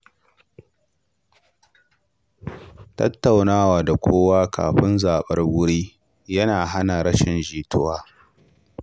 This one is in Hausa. Tattaunawa da kowa kafin zabar wuri yana hana rashin jituwa.